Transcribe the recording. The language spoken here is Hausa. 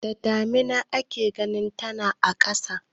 Da damina ake ganin tana a ƙasa.